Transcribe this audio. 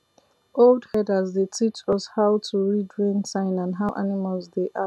old herders dey teach us how to read rain sign and how animals dey act